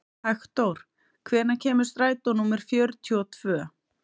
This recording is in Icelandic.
Hektor, hvenær kemur strætó númer fjörutíu og tvö?